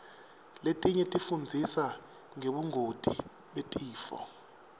letinye tifundzisa ngebungoti betifo